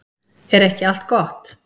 Er ekki allt gott?